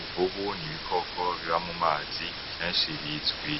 Imvubu ni ibikoko biba mu mazi kenshi bizwi